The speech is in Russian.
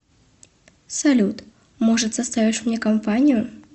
салют может составишь мне компанию